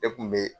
Ne kun be